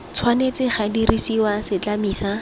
tshwanetse ga dirisiwa setlami sa